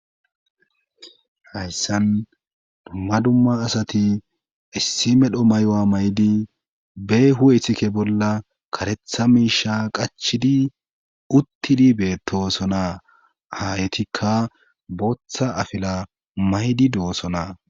Hayssan dumma dumma asati issi medho mayoa maydi bee hu'ethike bolla karetha miisha qachidi uttidi beetosona haytikka booththa afila maydi doosona.